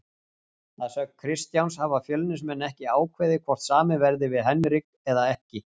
Að sögn Kristjáns hafa Fjölnismenn ekki ákveðið hvort samið verði við Henrik eða ekki.